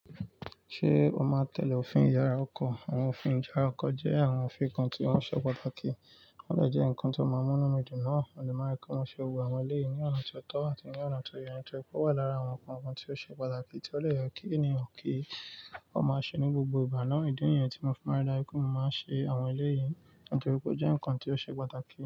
Ṣé o máa tẹ̀lé òfin ìyára ọkọ̀? Àwọn òfin ìyára ọkọ̀ jẹ́ àwọn òfin kan tí wọ́n ṣe pàtàkì. Wọ́n dẹ̀ jẹ́ ǹkan tí ó máa ń múnú mi dùn náà. Mo de máa n rí pe mo ṣe gbogbo àwọn eleyìí ní ọ̀nà ti o tọ́ àti ní ọ̀nà ti o yẹ ní torí pé ó wà lára àwọn nǹkan kan tí ó ṣe pàtàkì tí ó dè ye kí ènìyàn kí. Wọ́n máa ṣe ní gbogbo ìgbà náà. Ìdí nìyẹn tí mo fi máa n ri daju pé mo máa n ṣe àwọn eleyii nítorí pé ó jẹ́ ǹkan tí ó ṣe pàtàkì.